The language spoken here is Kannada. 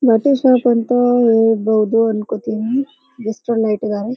ಶಾಪ್ ಅಂತ ಹೇಳ್ಬಹುದು ಅನ್ಕೋತಿನಿ ಗಿಫ್ಟ್ ಎಲ್ಲ ಇಟ್ಟಿದ್ದಾರೆ.